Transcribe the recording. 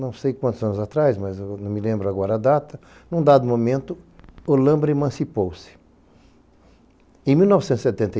Não sei quantos anos atrás, mas não me lembro agora a data, num dado momento, Olâmbra emancipou-se.